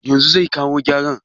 Yanzu zai kawo giyar?